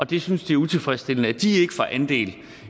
de synes det er utilfredsstillende at de får andel